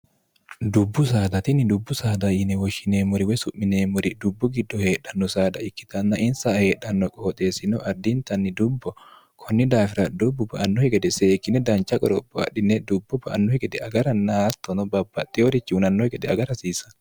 dubbu saadatinni dubbu saada yine woshshineemmori we su'mineemmori dubbu giddo heedhanno saada ikkitanna insa heedhanno qooxeessino ardiintanni dubbo konni daafira dubbu ba annohi gede seekkine dancha qoropho adhine dubbo ba annohi gede agara naattono babbaxxi horichi unannohe gede agara hasiisa